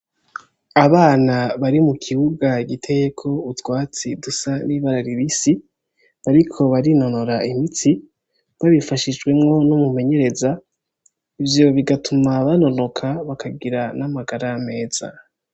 Abana bari mukibuga giteko utwatsi dusa nibara ribisi bariko barinonora imitsi babifashishijemwo numumenyereza ivyo bigatuma banonoka bakagira namagara meza